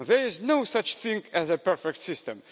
There is no such thing as a perfect system.